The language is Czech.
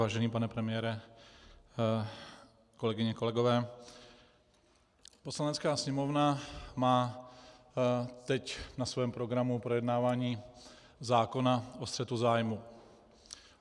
Vážený pane premiére, kolegyně, kolegové, Poslanecká sněmovna má teď na svém programu projednávání zákona o střetu zájmů.